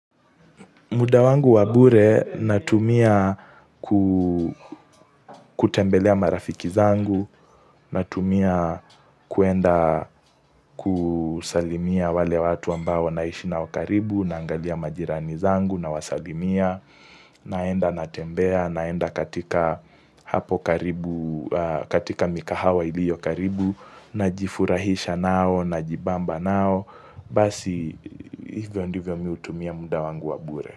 Muda wangu wa bure natumia ku kutembelea marafiki zangu, natumia kuenda kusalimia wale watu ambao naishi nao karibu, naangalia majirani zangu, nawasalimia, naenda natembea, naenda katika hapo katika mikahawa iliyo karibu, najifurahisha nao, najibamba nao, basi hivyo ndivyo mimi hutumia muda wangu wa bure.